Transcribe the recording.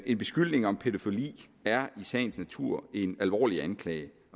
en beskyldning om pædofili er i sagens natur en alvorlig anklage